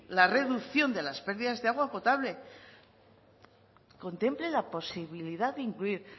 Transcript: la reducción de las pérdidas de agua potable contemple la posibilidad de incluir